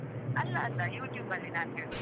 ಅಲ್ಲಾ ಅಲ್ಲಾ YouTube ಲ್ಲಿ ನಾನ್ ಹೇಳುದು.